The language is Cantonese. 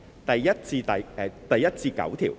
第1至9條。